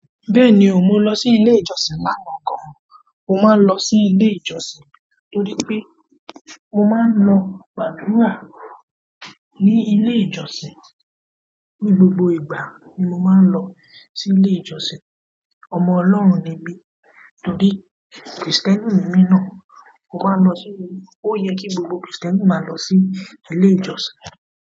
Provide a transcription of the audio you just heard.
Bẹ́ẹ̀ni o, mo lọ sí ilé ìjọsìn lánàá gan. Mo máa ń lọ sí ilé ìjọsìn torí pé mo máa ń lọ gbàdúrà ní ilé ìjọsìn. Ni gbogbo ìgbà ni mo maa n lọ si ile ìjọsìn. Ọmọ ọlọ́run ni mí torí Krìstẹ́nì ni mí náà. Mo máa lọ sí-- ó yẹ kí gbogbo Krìstẹ́nì máa lọ sí ilé ìjọsìn.